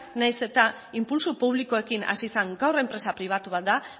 nahiz eta inpultso publikoekin hasi zen gaur enpresa pribatu bat da